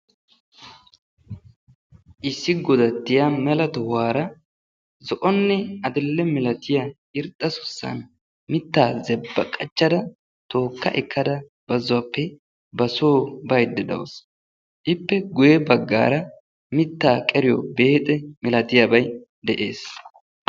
Issi godattiya mela tohuwaara zo"onne adidhe milatiya irxxa suussan mittaa zebba qachchada tookka ekkada bazzuwaappe basoo baydda dawusu. Ippe guyye baggaara mittaa qeriyo beexe milatiyabay de'ees.